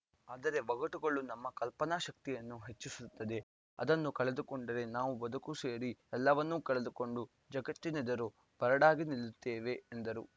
ಅದರ ಒಗಟುಗಳು ನಮ್ಮ ಕಲ್ಪನಾ ಶಕ್ತಿಯನ್ನು ಹೆಚ್ಚಿಸುತ್ತವೆ ಅದನ್ನು ಕಳೆದುಕೊಂಡರೆ ನಾವು ಬದುಕು ಸೇರಿ ಎಲ್ಲವನ್ನೂ ಕಳೆದುಕೊಂಡು ಜಗತ್ತಿನೆದುರು ಬರಡಾಗಿ ನಿಲ್ಲುತ್ತೇವೆ ಎಂದರು